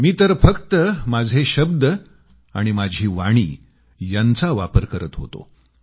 मी तर फक्त माझे शब्द आणि माझी वाणी यांचा वापर करत होतो